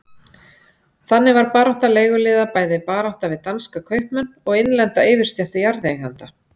Þannig var barátta leiguliða bæði barátta við danska kaupmenn og innlenda yfirstétt jarðeigenda.